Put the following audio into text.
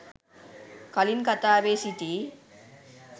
කලින් කතාවේ සිටි